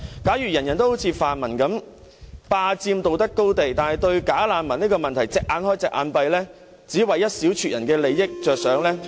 假如每個人都好像泛民一樣，霸佔道德高地，但對"假難民"的問題"隻眼開，隻眼閉"，只為一小撮人的利益着想......